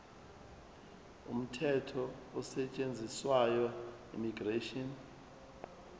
umthetho osetshenziswayo immigration